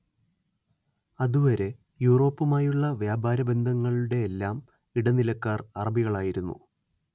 അതുവരെ യൂറോപ്പുമായുളള വ്യാപാര ബന്ധങ്ങളുടെയെല്ലാം ഇടനിലക്കാർ അറബികളായിരുന്നു